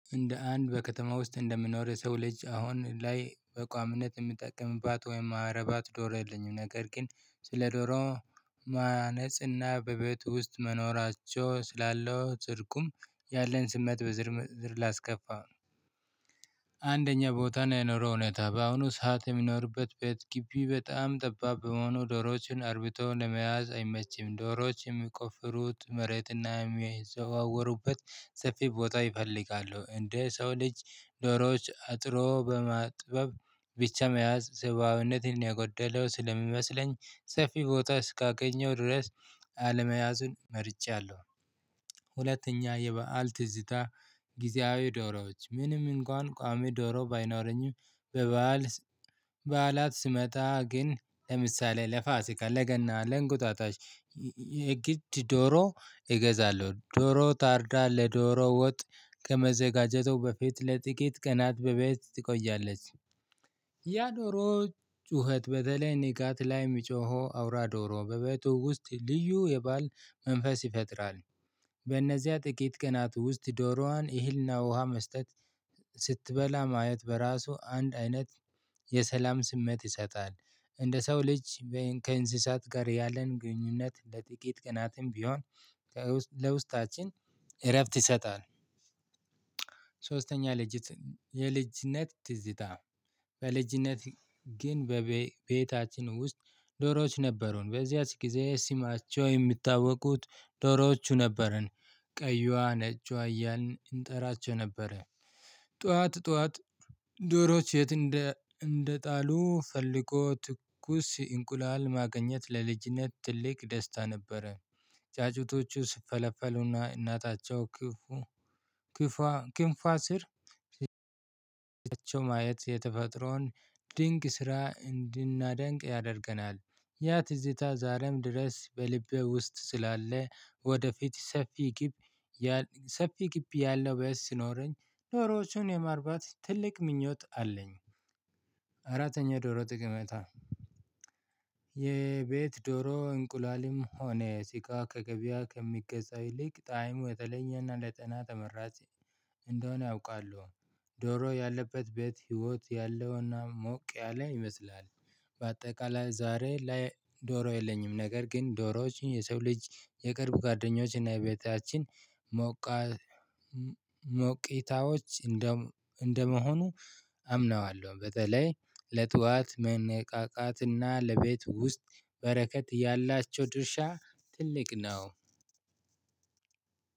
እንደ አንድ በከተማ ውስጥ እንደምኖር የሰው ልጅ አሁን ላይ በምነት የምጠቀምባት ወይም ማረባት ዶሮ የልኝም ነገር ግን ስለ ዶሮ ማነጽና በቤቱ ውስጥ መኖራቸው ስላለው ጽድቁም ያለን ስመት በዝርዝር ላስከፋው አንደኛ ቦታ ነው የኑሮ ሁኔታ በአሁኑ ሰዓት የሚኖርበት ቤት ግቢ በጣም ጠባብ በመሆኑ ዶሮዎችን አርብተው ለመያዝ አይመችም ዶሮዎችን የሚቆፍሩት መሬትና የሚዘዋወሩበት ሰፊ ቦታ ይፈልጋሉ። እንደ ሰው ልጅ ዶሮዎች አጥሮ በማጥበብ ብቻ መያዝ ስብዓዊነትን የጎደለው ስለሚመስለኝ ሰፊ ቦታ እስካገኘው ድረስ አለመያዝን መርጫለሁ ሁለተኛ የበአል ትዝታ ጊዜያዊ ዶሮዎች ምንም እንኳን ቋሚ ዶሮ ባይኖረኝም በበዓል በዓላት ስመጣ ግን ለምሳሌ ለፋሲካ ለገና ለእንቁጣጣሽ የግድ ዶሮ እገዛለሁ ዶሮ ታርዳ ለዶሮ ወጥ ከመዘጋጀት በፊት ለጥቂት ቀናት በቤት ትቆያለች። ያ ዶሮ ጩኸት በተለይ ንጋት ላይ የሚጮኸው አውራ ዶሮ በበቱ ውስጥ ልዩ የበአል መንፈስ ይፈጥራል። በእነዚያ ጥቂት ቀናት ውስጥ ዶሮዋን እህልና ውሃ መስጠት፤ ስትበላ ማየት በራሱ አንድ አይነት የሰላም ስሜት ይሰጣል። እንደ ሰው ልጅ ከእንስሳት ጋር ያለን ግንኙነት ለጥቂት ቅናትም ቢሆን ለውስጣችን እረፍት ይሰጣል ሶስተኛ ልጅት የልጅነት ትዝታ በልጅነት ግን በቤታችን ውስጥ ዶሮዎች ነበሩን በዚያች ጊዜ ስማቸው የሚታወቁት ዶሮዎቹ ነበረን። ቀይዋ ነጮች አያልን እንጠራቸው ነበረ ጠዋት ጠዋት ዶሮዎች የት እንደ እንደጣሉ ፈልጎ ትኩስ እንቁላል ማገኘት ለልጅነት ትልቅ ደስታ ነበረ። ጫጩቶቹ ስፈለፈሉና እናታቸው ክፉ ክንፋ ስር ማየት የተፈጥሮን ድንቅ ስራ እንድናደንቅ ያደርገናል። ያ ትዝታ ዛሬም ድረስ በልቤ ውስጥ ስላለ ወደፊት ሰፊ ግብ ሰፊ ግቢ ያለው ቤት ሲኖረኝ ዶሮዎቹን የማርባት ትልቅ ምኞት አለኝ ዶሮ ጠቀሜታ የቤት ዶሮ እንቁላልም ሆነ ስጋ ከገበያ ከሚገዛው ይልቅ ጣዕሙ የተለኝና ለጤና ተመራጭ እንደሆነ አውቃለሁ። ዶሮ ያለበት ቤት ህይወት ያለውና ሞቅ ያለ ይመስላል። በአጠቃላይ ዛሬ ላይ ዶሮ የለኝም ነገር ግን ዶሮዎች የሰው ልጅ የቅርብ ጓደኞች እና የቤታችን ሞቅታዎች እንደመሆኑ አምነዋለሁ። በተለይ ለጧት መነቃቃትና ለቤት ውስጥ በረከት ያላቸው ድርሻ ትልቅ ነው።